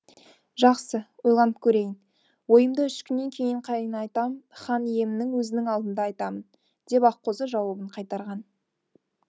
жақсы ойланып көрейін ойымды үш күннен кейін қайын атам хан иемнің өзінің алдында айтамын деп аққозы жауабын қайтарған